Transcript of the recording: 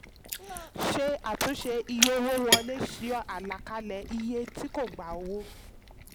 ṣe àtúnṣe iye owó wọlé yọ àlàkalẹ̀ tí kò gbà owó.